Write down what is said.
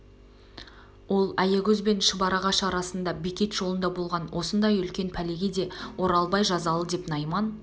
ол аягөз бен шұбарағаш арасында бекет жолында болған осындай үлкен пәлеге де оралбай жазалы деп найман